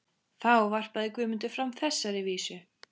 Þá varpaði Guðmundur fram þessari vísu: